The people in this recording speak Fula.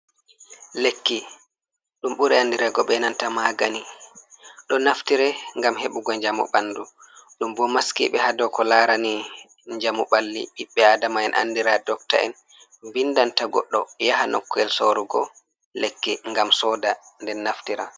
Lekki dum buri andirego be nanta magani, do naftire gam heɓugo jamu bandu ,dum bo maskibe ha doko larani jamu balli bibbe adamaen andira dokta'en bindanta godɗo yaha nokk’el sorugo lekki gam soda nde naftira.